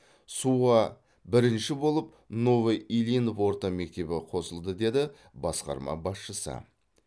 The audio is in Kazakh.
суға бірінші болып новоильинов орта мектебі қосылды деді басқарма басшысы